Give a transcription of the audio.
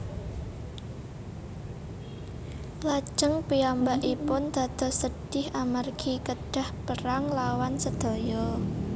Lajeng piyambakipun dados sedhih amargi kedhah perang nglawan sedaya